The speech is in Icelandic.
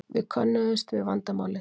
Við könnuðumst við vandamálið.